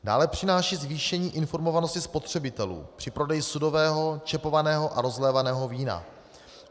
Dále přináší zvýšení informovanosti spotřebitelů při prodeji sudového, čepovaného a rozlévaného vína.